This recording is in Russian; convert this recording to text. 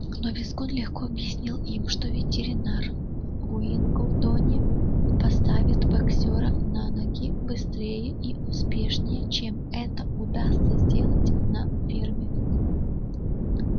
но визгун легко объяснил им что ветеринар в уиллгндоне поставит боксёра на ноги быстрее и успешнее чем это удастся сделать на ферме